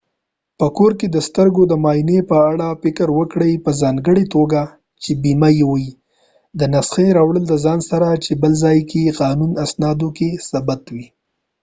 په کور کې د سترګو د معا ینی په اړه فکر وکړي په ځانګړی توګه چې بیمه یې وي او د نسخی راوړل دځان سره چې بل ځای کې یې په قانونی اسنادو کې ثبت کړي